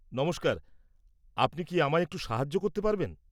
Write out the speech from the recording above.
নমস্কার, আপনি কি আমায় একটু সাহায্য করতে পারবেন?